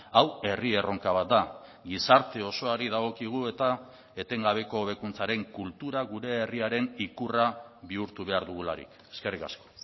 hau herri erronka bat da gizarte osoari dagokigu eta etengabeko hobekuntzaren kultura gure herriaren ikurra bihurtu behar dugularik eskerrik asko